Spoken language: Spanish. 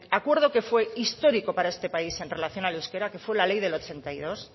acuerdo que fue histórico para este país en relación al euskera que fue la ley del ochenta y dos